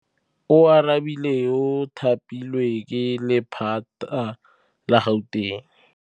Oarabile o thapilwe ke lephata la Gauteng.